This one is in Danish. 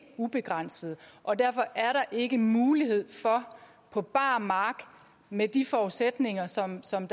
ubegrænsede og derfor er der ikke mulighed for på bar mark med de forudsætninger som som